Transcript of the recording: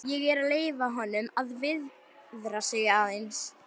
Ég er að leyfa honum að viðra sig aðeins.